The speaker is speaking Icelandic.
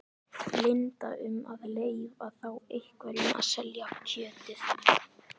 Linda: Um að leyfa þá einhverjum að selja kjötið?